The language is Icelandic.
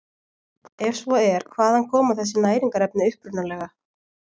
Ef svo er hvaðan koma þessi næringarefni upprunalega?